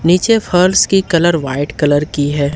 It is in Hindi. नीचे फर्श की कलर वाइट कलर की है।